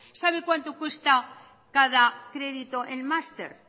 sabe cuánto cuesta cada crédito en máster